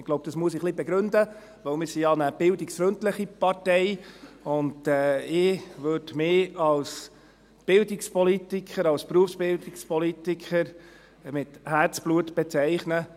– Ich glaube, das muss ich etwas begründen, denn wir sind ja eine bildungsfreundliche Partei, und ich würde mich als Bildungspolitiker, als Berufsbildungspolitiker mit Herzblut bezeichnen.